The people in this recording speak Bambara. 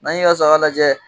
N'an y'i ka saga lajɛ